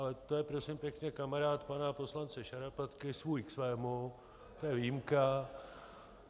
Ale to je, prosím pěkně, kamarád pana poslance Šarapatky, svůj k svému, to je výjimka.